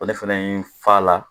Ɔn ne fɛnɛ ye n fa la